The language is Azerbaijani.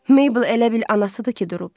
Meybl elə bil anasıdır ki durub.